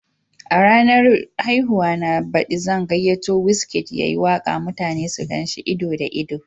A ranar haihuwa na baɗi zan gayyato Wizkid ya yi waka mutane su gan shi ido da ido.